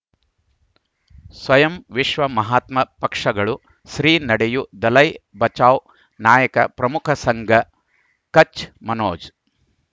ಸ್ವಯಂ ವಿಶ್ವ ಮಹಾತ್ಮ ಪಕ್ಷಗಳು ಶ್ರೀ ನಡೆಯೂ ದಲೈ ಬಚೌ ನಾಯಕ ಪ್ರಮುಖ ಸಂಘ ಕಚ್ ಮನೋಜ್